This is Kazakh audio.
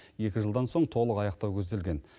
екі жылдан соң толық аяқтау көзделген